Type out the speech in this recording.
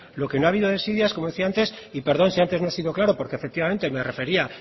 lo que no ha habido desidia es como decía antes y perdón si antes no he sido claro porque efectivamente me refería